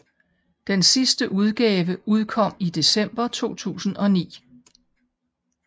Den sidste udgave udkom i december 2009